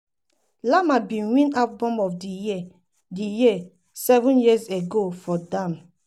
lamar bin win album of di year di year seven years ago for damn.